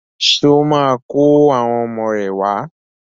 Ṣé ó máa kó àwọn ọmọ rẹ̀ wá?